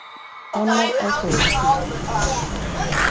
Bannað að fóðra fílana